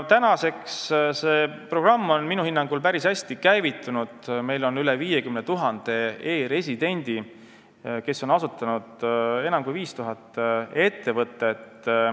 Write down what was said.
Nüüdseks on see programm minu hinnangul päris hästi käivitunud, meil on üle 50 000 e-residendi, kes on asutanud kokku enam kui 5000 ettevõtet.